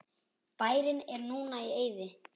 Bærinn er núna í eyði.